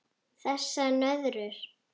Þessar nöðrur!